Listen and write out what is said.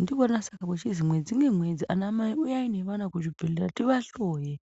ndosaka kuchinzi mwedzi ngemwedzi ana mai uyai nevana kuzvibhedhlera tivahloye.